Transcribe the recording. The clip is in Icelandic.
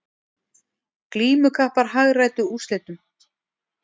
Glímukappar hagræddu úrslitum